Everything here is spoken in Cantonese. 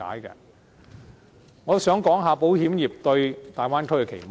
我也想談談保險業界對大灣區的期望。